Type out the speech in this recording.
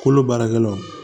Kolo baarakɛlaw